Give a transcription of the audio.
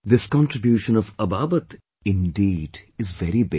This contribution of Ababat, indeed is very big